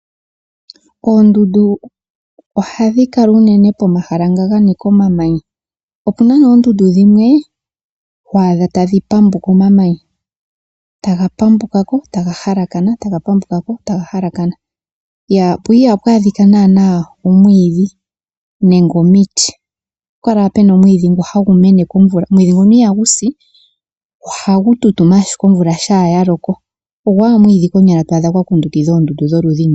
Oondundu ohadhi kala unene pomahala nga ganika omamanya . Opuna oondundu dhimwe to adha tadhi pambuka omamanya taga pambukako taga halakana, po ihapu adhika naa owiidhi nenge omiti ohapukala owala omwiidhi ngu hagu mene komvula omwiidhi nguno ihagusi ohagu tutuma ashike omvula shampa yaloko. Ogo owala omwiidhi to adha gwa kundukidha ondundu.